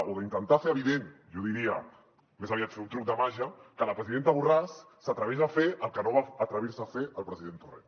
o d’intentar fer evident jo diria més aviat fer un truc de màgia que la presidenta borràs s’atreveix a fer el que no va atrevir se a fer el president torrent